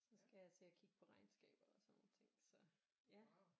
Så skal jeg til at kigge på regnskaber og sådan nogle ting så ja